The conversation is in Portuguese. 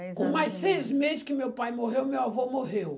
Com mais seis meses que meu pai morreu, meu avô morreu.